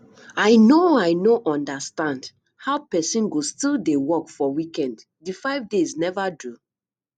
i no i no understand how person go still dey work for weekend the five days never do